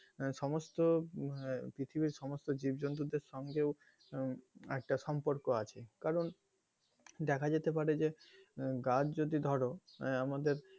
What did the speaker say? সমস্ত পৃথিবীর আহ পৃথিবীর সমস্ত জীবজন্তু দের সঙ্গেও একটা সম্পর্ক আছে কারন দেখা যেতে পারে গাছ যদি ধরো আমাদের,